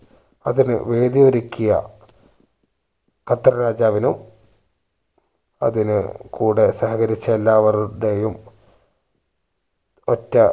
അതിന് വേദി ഒരുക്കിയ ഖത്തർ രാജാവിനും അതിന് കൂടെ സഹകരിച്ച എല്ലാവർടേയും ഒറ്റ